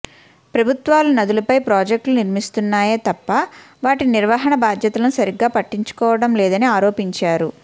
ప్రభుత్వాలు నదులపై ప్రాజక్ట్ లు నిర్మిస్తున్నాయే తప్ప వాటి నిర్వహణా బాధ్యతలను సరిగా పట్టించుకోవడంలేదని ఆరోపించారు